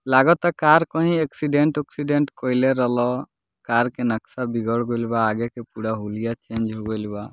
लागता कार कहीं एक्सीडेंट उक्सीडेंट कइले रहलअ कार के नक्शा बिगड़ गइल बा आगे के पुरा हुलिया चेंज हो गइल बा।